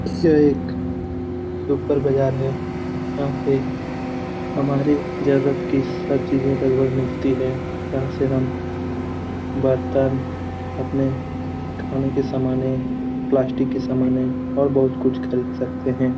यह एक सुपर बाज़ार है। यहाँ पे हमारे जरुरत की सब चीजें लगभग मिलती है। यहाँ से हम बर्तन अपने खाने के समानें प्लास्टिक के समानें और बहुत कुछ खरीद सकते है।